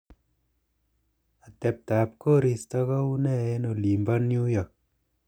atebtab koristo koune en olimpo new york